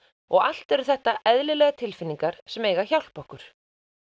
og allt eru þetta eðlilegar tilfinningar sem eiga að hjálpa okkur